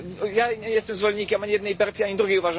Ja nie jestem zwolennikiem ani jednej partii, ani drugiej.